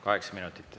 Kaheksa minutit.